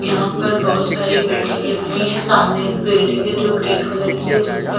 यहां पर बहोत सारी बिल्डिंगें बनी है सामने एक बिल्डिंग है जो ग्रीन कलर की है जिस पर--